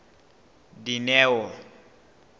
dineo